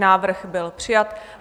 Návrh byl přijat.